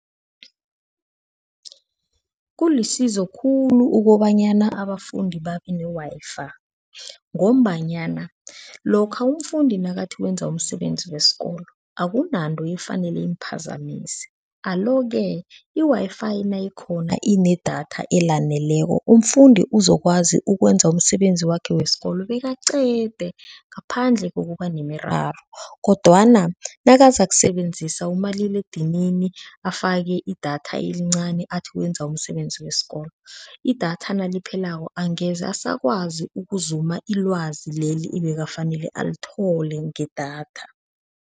Kulisizo khulu ukobanyana abafundi babe ne-Wi-Fi ngombanyana lokha umfundi nakathi wenza umsebenzi wesikolo akunanto efanele imphazamisa alo-ke, i-Wi-Fi nayikhona inedatha elaneleko, umfundi uzokwazi ukwenza umsebenzi wakhe wesikolo bekaqede ngaphandle kokuba nemiraro kodwana nakazakusebenzisa umaliledinini afake idatha elincani athi wenza umsebenzi wesikolo, idatha naliphelako angeze asakwazi ukuzuma ilwazi leli ebekafanele alithole ngedatha.